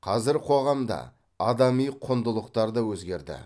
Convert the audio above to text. қазір қоғам да адами құндылықтар да өзгерді